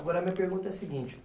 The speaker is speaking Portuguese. Agora, a minha pergunta é a seguinte.